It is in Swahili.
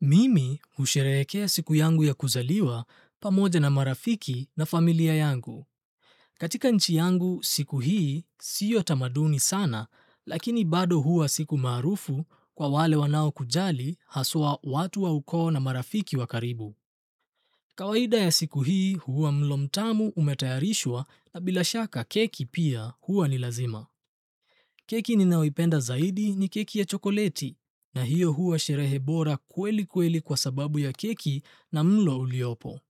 Mimi usherehekea siku yangu ya kuzaliwa pamoja na marafiki na familia yangu. Katika nchi yangu siku hii siyo tamaduni sana, lakini bado huwa siku maarufu kwa wale wanao kujali haswa watu wa ukoo na marafiki wakaribu. Kawaida ya siku hii huwa mlo mtamu umetayarishwa na bila shaka keki pia huwa ni lazima. Keki ni nayoipenda zaidi ni keki ya chokoleti na hiyo huwa sherehe bora kweli kweli kwa sababu ya keki na mlo uliopo.